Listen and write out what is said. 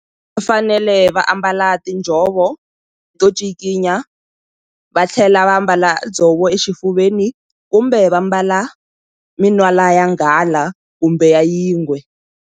Va fanele va ambala tinjhovo to cikinya va tlhela va mbala dzovo exifuveni kumbe va mbala minwala ya nghala kumbe ya yingwe.